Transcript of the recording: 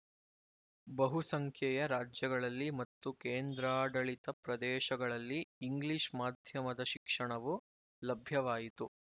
ಬಹುಸಂಖ್ಯೆಯ ರಾಜ್ಯಗಳಲ್ಲಿ ಮತ್ತು ಕೇಂದ್ರಾಡಳಿತ ಪ್ರದೇಶಗಳಲ್ಲಿ ಇಂಗ್ಲಿಶ್ ಮಾಧ್ಯಮದ ಶಿಕ್ಷಣವು ಲಭ್ಯವಾಯಿತು